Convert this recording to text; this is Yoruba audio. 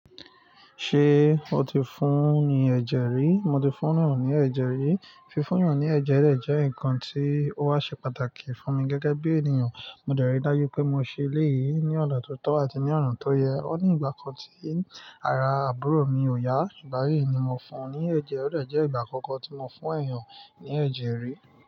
Ṣé o ti fún ni ẹ̀jẹ̀ rí? Mo ti fún eniyan ní ẹ̀jẹ̀ rí. Fí fún yan ní ẹ̀jẹ̀ de jẹ́ nǹkan tí ó wá ṣe pàtàkì fún mi gẹ́gẹ́ bí ènìyàn. Mo dẹ̀rí dájú pé mo ṣe eléyìí ní ọ̀na tó tọ́ àti ní ọ̀na tó yẹ. Ó ní ìgbà kan tí ara àbúrò mi ò yá, igba yìí ni mo fún ní ẹ̀jẹ̀. Ọ̀dọe jẹ́ ìgbà àkọ́kọ́ tí mo fún ẹ̀yàn ní ẹ̀jẹ̀ rí.